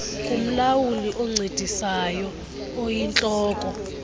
kumlawuli oncedisayo oyintloko